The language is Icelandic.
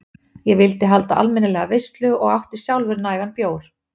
Ég vildi halda almennilega veislu og átti sjálfur nægan bjór.